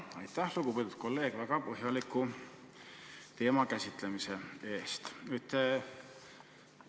Aitäh, lugupeetud kolleeg, väga põhjaliku teemakäsitluse eest!